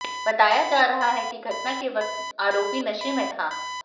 बताया जा रहा है कि घटना के वक्त आरोपी नशे में था